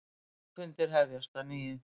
Þingfundir hefjast að nýju